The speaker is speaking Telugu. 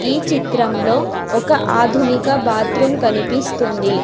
ఈ చిత్రంలో ఒక ఆధునిక బాత్రూం కనిపిస్తుంది.